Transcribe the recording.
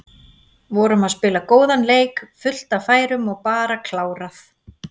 Vorum að spila góðan leik, fullt af færum og bara klárað.